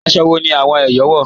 Àṣọ́ wọ̀ ni awọn Èyọ̀ wọ́?